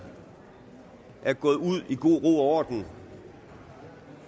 er gået ud i god ro og orden